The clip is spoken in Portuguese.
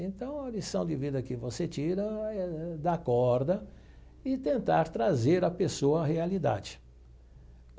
Então, a lição de vida que você tira é dar corda e tentar trazer à pessoa a realidade.